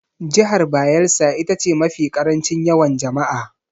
Jihar Bayelsa ita ce mafi ƙarancin yawan jama'a.